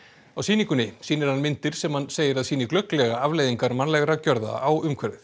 á sýningunni sýnir hann myndir sem hann segir að sýni glögglega afleiðingar mannlegra gjörða á umhverfið